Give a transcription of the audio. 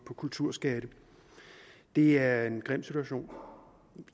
på kulturskatte det er en grim situation